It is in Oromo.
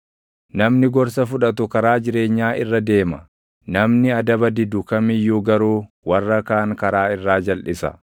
Namni gorsa fudhatu karaa jireenyaa irra deema; namni adaba didu kam iyyuu garuu warra kaan karaa irraa jalʼisa.